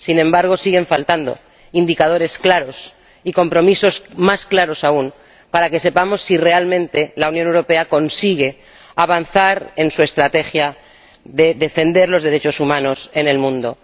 Sin embargo, siguen faltando indicadores claros y compromisos más claros aún, para que sepamos si realmente la Unión Europea consigue avanzar en su estrategia de defender los derechos humanos en el mundo.